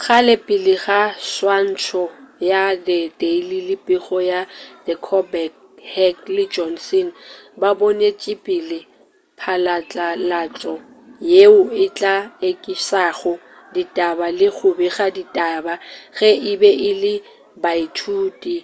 kgale pele ga swantšho ya the daily le pego ya the colbert heck le johnson ba bonetšepele phatlalatšo yeo e tla ekišago ditaba-le go bega ditaba-ge e be e le baithuti